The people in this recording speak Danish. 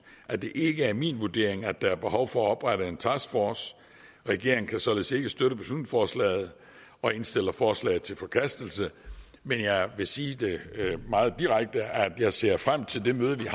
at det ikke er min vurdering at der er behov for at oprette en taskforce regeringen kan således ikke støtte beslutningsforslaget og indstiller forslaget til forkastelse men jeg vil sige meget direkte at jeg ser frem til det møde vi